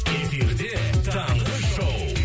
эфирде таңғы шоу